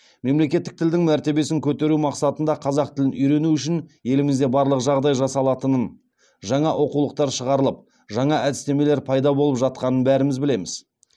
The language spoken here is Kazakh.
мемлекеттік тілдің мәртебесін көтеру мақсатында қазақ тілін үйрену үшін елімізде барлық жағдай жасалатынын жаңа оқулықтар шығарылып жаңа әдістемелер пайда болып жатқанын бәріміз білеміз